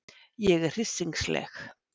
Ég er hryssingsleg.